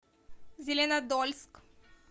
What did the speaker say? зеленодольск